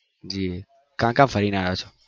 જી કા કા ફરી ને આવ્યા છો